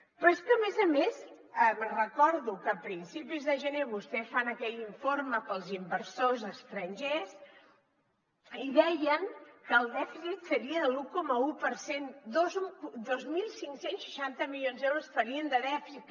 però és que a més a més recordo que a principis de gener vostès fan aquell informe per als inversors estrangers i deien que el dèficit seria de l’un coma un per cent dos mil cinc cents i seixanta milions d’euros farien de dèficit